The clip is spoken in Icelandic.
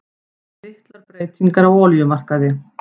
Litlar breytingar á olíumarkaði